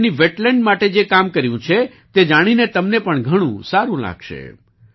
ભારતે તેની વેટલેન્ડ માટે જે કામ કર્યું છે તે જાણીને તમને પણ ઘણું સારું લાગશે